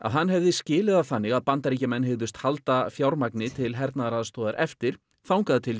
hann hefði skilið það þannig að Bandaríkjamenn hygðust halda fjármagni til hernaðaraðstoðar eftir þangað til